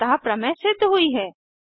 अतः प्रमेय सिद्ध हुई हैं